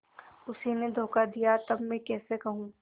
उसी ने धोखा दिया तब मैं कैसे कहूँ